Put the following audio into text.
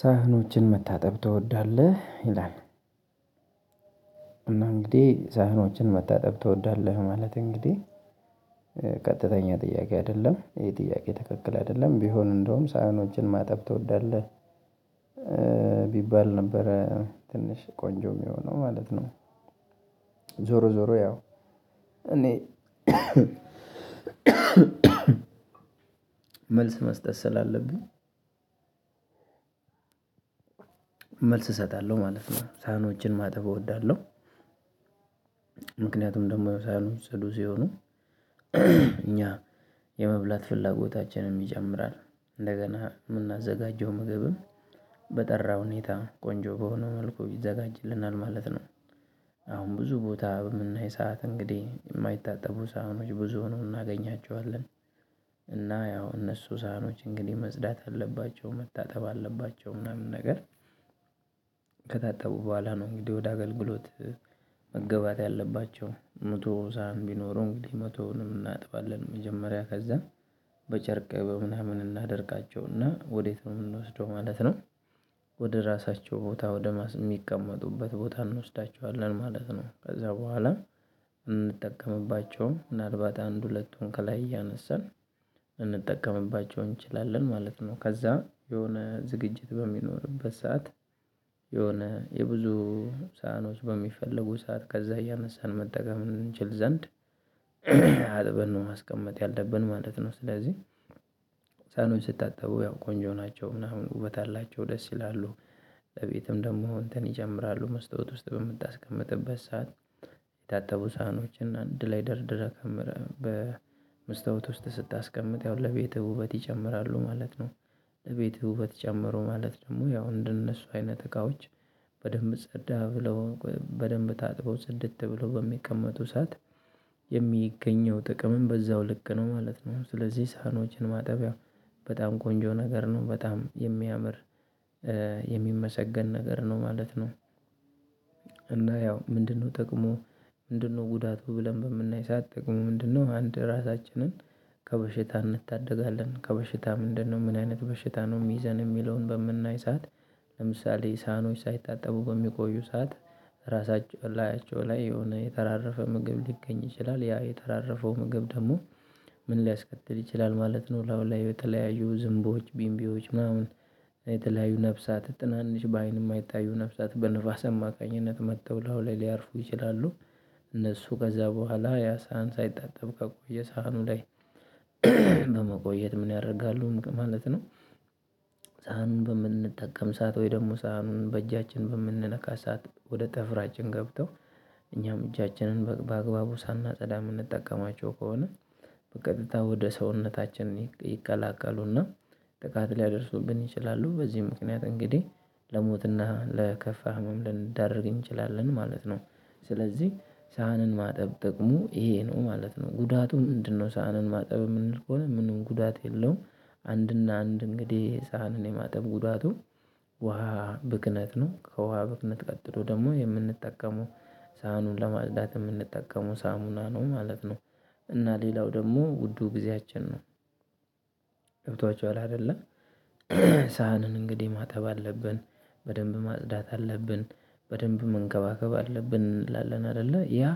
"ሳህኖችን መታጠብ ትወዳለህ?" ይላል። እና እንግዲህ "ሳህኖችን መታጠብ ትወዳለህ?" ማለት እንግዲህ ቀጥተኛ ጥያቄ አይደለም፣ ይሄ ጥያቄ ትክክል አይደለም ቢሆን እንደውም ሳይሆኖችን ማጠብ ትወዳለህ ቢባል ነበረ ትንሽ ቆንጆ የሚሆነው ማለት ነው። ዞሮ ዞሮ ያው እኔ መልስ መስጠት ስላለብኝ መልስ እሰጣለሁ ማለት ነው። ሳህኖችን ማጠብ እወዳለሁ። ምክንያቱም ደግሞ ሳህኖች ጽዱ ሲሆኑ እኛ የመብላት ፍላጎታችንን ይጨምራል። እንደገና የምናዘጋጀው ምግብም በጠራ ሁኔታ ቆንጆ በሆነ መልኩ ይዘጋጅልናል ማለት ነው። አሁን ብዙ ቦታ በምናይ ሰዓት እንግዲህ የማይታጠቡ ሳህኖች ብዙ ሆነው እናገኛቸዋለን፤ እና ያው እነሱ ሳህኖች እንግዲህ መጽዳት አለባቸው መታጠብ አለባቸው ምናምን ነገር ከታጠቡ በኋላ ነው እንግዲህ ወደ አገልግሎት መገባት ያለባቸው መቶ ሳህን ቢኖሩ እንግዲህ መቶውንም እናጥባለን መጀመሪያ ከዛ በጨርቅ በምናምን እናደርቃቸውና ወዴት ነው የምንወስደው ማለት ነው ወደ ራሳቸው ቦታ ወደ ማስ የሚቀመጡበት ቦታ እንወስዳቸዋለን ማለት ነው። ከዛ በኋላ እንጠቀምባቸውም፤ ምናልባት አንድ ሁለቱን ከላይ እያነሳን እንጠቀምባቸው እንችላለን ማለት ነው። ከዛ የሆነ ዝግጅት በሚኖርበት ሰዓት የሆነ የብዙ ሳህኖች በሚፈለጉ ሰዓት ከዛ እያነሳን መጠቀም እንችል ዘንድ አጥበን ነው ማስቀመጥ ያለብን ማለት ነው። ስለዚህ ሳህኖች ሲታጠቡ ያው ቆንጆ ናቸው ምናምን ውበት አላቸው ደስ ይላሉ። ቤትም ደግሞ እንትን ይጨምራሉ መስታወት ውስጥ በምታስቀምጥበት ሰዓት። የታጠቡ ሳህኖችን አንድ ላይ ደርደረህ ከምረህ በመስታወት ውስጥ ስታስቀምጥ ያው ለቤትህ ውበት ይጨምራሉ ማለት ነው። ለቤትህ ውበት ጨመሩ ማለት ደግሞ ያው እንደነሱ አይነት እቃዎች በደንብ ጸዳ ብለው በደንብ ታጥበው ጽድት ብለው በሚቀመጡ ሰዓት የሚገኘው ጥቅምም በዛው ልክ ነው ማለት ነው። ስለዚህ ሳህኖችን ማጠብ ያው በጣም ቆንጆ ነገር ነው፣ በጣም የሚያምር የሚመሰገን ነገር ነው ማለት ነው። እና ያው ምንድነው ጠቅሙ ምንድነው ጉዳቱ ብለን በምናይ ሰዓት "ጥቅሙ ምንድነው?" አንድ ራሳችንን ከበሽታ እንታደጋለን። ከበሽታ ምንድነው ምን አይነት በሽታ ነው የሚይዘን የሚለውን በምናይ ሰዓት ለምሳሌ ሳህኖች ሳይታጠቡ በሚቆዩ ሰዓት ራሳቸ ላያቸው የሆነ የተራረፈ ምግብ ሊገኝ ይችላል። ያ የተራረፈው ምግብ ደግሞ ምን ሊያስከትል ይችላል ማለት ነው ላዩ ላይ የተለያዩ ዝንቦች ቢምቢዎች ምናምን የተለያዩ ነፍሳት ትናንሽ በአይን የማይታዩ ነፍሳት በንፋስ አማካኝነት መጥተው ላዩ ላይ ሊያርፉ ይችላሉ። እነሱ ከዛ በኋላ ያ ሳህን ሳይታጠብ ከቆየ ሳህኑ ላይ በመቆየት ምን ያደርጋሉ ማለት ነው? ሳህኑን በምንጠቀም ሰዓት ወይ ደግሞ ሳህኑን በእጃችን በምንነካ ሰዓት ወደ ጥፍራችን ገብተው እኛም እጃችንን በአግባቡ ሳናጸዳ የምንጠቀማቸው ከሆነ በቀጥታ ወደ ሰውነታችን ይቀላቀሉና ጥቃት ሊያደርሱብን ይችላሉ። በዚህም ምክንያት እንግዲህ ለሞትና ለከፋ ህመም ልንዳረግ እንችላለን ማለት ነው። ስለዚህ ሳህንን ማጠብ ጥቅሙ ይሄ ነው ማለት ነው። "ጉዳቱ ምንድነው ሳህንን ማጠብ?" የምንል ከሆነ፣ ምንም ጉዳት የለውም። አንድና አንድ እንግዲህ ሳህንን የማጠብ ጉዳቱ ውሃ ብክነት ነው። ከውሃ ብክነት ቀጥሎ ደግሞ የምንጠቀመው ሳህኑን ለማጽዳት የምንጠቀመው ሳሙና ነው ማለት ነው። እና ሌላው ደግሞ ውዱ ጊዜያችን ነው። ገብቷችኋል አይደለ ሳህንን እንግዲህ ማጠብ አለብን፣ በደንብ ማጽዳት አለብን፣ በደንብ መንከባከብ አለብን እንላለን አይደለ ያ